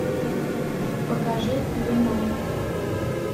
покажи веном